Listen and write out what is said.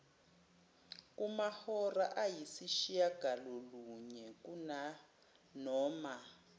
kumahora ayisishiyagalolunye kunanoma